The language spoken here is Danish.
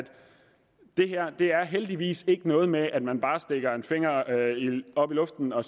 det her heldigvis ikke er noget med at man bare stikker en finger op i luften og